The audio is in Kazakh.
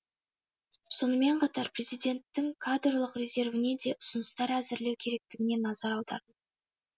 сонымен қатар президенттің кадрлық резервіне де ұсыныстар әзірлеу керектігіне назар аударды